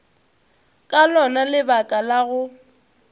ka lona lebaka la go